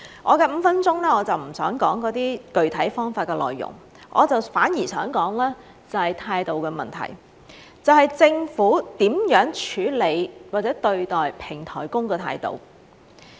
我的5分鐘，我就不想說那些具體方法的內容，反而想說說態度的問題，即政府如何處理或者對待平台工的態度。